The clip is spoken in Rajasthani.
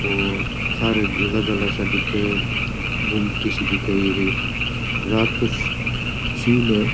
सारे म उजाला सा दिखे है गुमटी सी दिखे है एक रात को सीन है।